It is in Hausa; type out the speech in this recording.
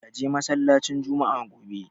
Ka je masallacin Jumma'a gobe!